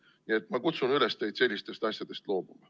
Nii et ma kutsun üles teid sellistest asjadest loobuma.